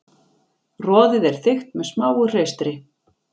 Roðið er þykkt með smáu hreistri.